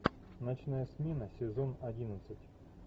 ночная смена сезон одиннадцать